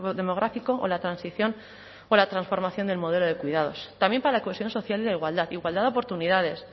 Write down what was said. demográfico o la transición o la transformación del modelo de cuidados también para la cohesión social y la igualdad igualdad de oportunidades